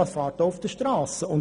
Es fährt auch auf den Strassen.